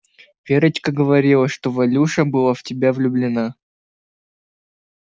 верочка говорила что валюша была в тебя влюблена